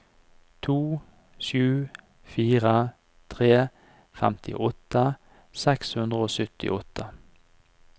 to sju fire tre femtiåtte seks hundre og syttiåtte